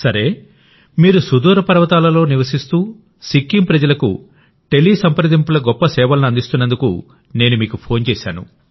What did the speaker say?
సరే మీరు సుదూర పర్వతాలలో నివసిస్తూ సిక్కిం ప్రజలకు టెలిసంప్రదింపుల గొప్ప సేవలను అందిస్తున్నందుకు నేను మీకు ఫోన్ చేశాను